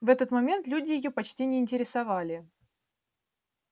в этот момент люди её почти не интересовали